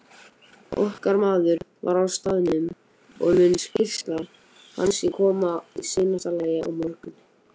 Okkar maður var á staðnum og mun skýrsla hans koma í seinasta lagi á morgun.